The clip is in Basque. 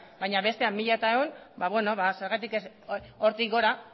baina bestea mil cien beno ba zergatik ez hortik gora